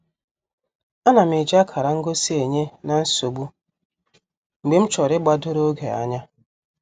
Anam eji akara ngosi enye-na-nsogbu mgbe m chọrọ igbadoro oge anya.